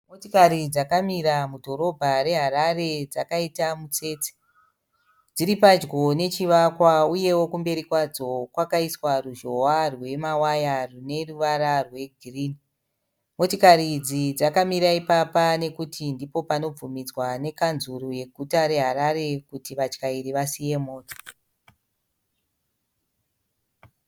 Motikari dzakamira mudhorobha reHarare dzakaita mutsetse. Dziri padyo nechivakwa uyewo kumberi kwadzo kwakaiswa ruzhowa rwemawaya rwune ruvara rwe girinhi. Motokari idzi dzakamira ipapa nokuti ndipo panobvumidzwa ne Kanzuru yeguta re Harare kuti vatyairi vasiye mota.